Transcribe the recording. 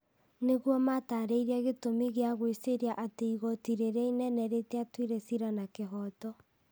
nĩguo mataarĩrie gĩtũmi gĩa gwĩciiria atĩ igoti rĩrĩa inene rĩtiatuire ciira na kĩhooto.